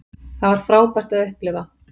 Það var frábært að upplifa